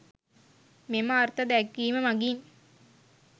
මෙම අර්ථ දැක්වීම මගින්